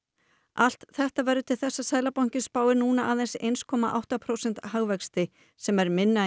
allt þetta verður til þess að Seðlabankinn spáir núna aðeins eitt komma átta prósenta hagvexti sem er minna